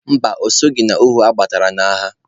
Mba, o soghi n'ohu adọtara n'agha.